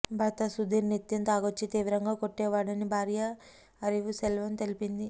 భర్త సుదీర్ నిత్యం తాగొచ్చి తీవ్రంగా కొట్టేవాడని భార్య అరివుసెల్వం తెలిపింది